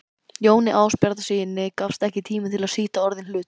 Jóni Ásbjarnarsyni gafst ekki tími til að sýta orðinn hlut.